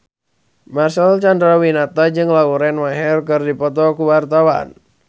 Marcel Chandrawinata jeung Lauren Maher keur dipoto ku wartawan